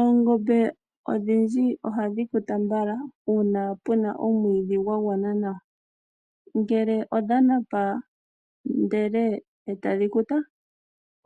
Oongombe odhindji ohadhi kuta mbala uuna puna omwiidhi gwa gwana nawa. Ngele odha napa ndele e tadhi kuta,